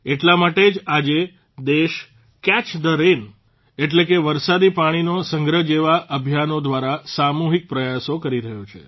એટલા માટે જ આજે દેશ કેચ થે રેન એટલે કે વરસાદી પાણીનો સંગ્રહ જેવા અભિયાનો દ્વારા સામૂહિક પ્રયાસો કરી રહ્યો છે